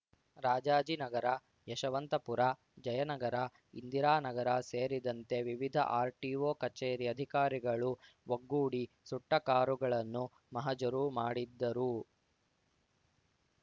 ರಾಜಾಜಿನಗರ ಯಶವಂತಪುರ ಜಯನಗರ ಇಂದಿರಾ ನಗರ ಸೇರಿದಂತೆ ವಿವಿಧ ಆರ್‌ಟಿಒ ಕಚೇರಿ ಅಧಿಕಾರಿಗಳು ಒಗ್ಗೂಡಿ ಸುಟ್ಟಕಾರುಗಳನ್ನು ಮಹಜರು ಮಾಡಿದ್ದರು